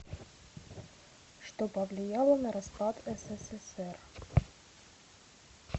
что повлияло на распад ссср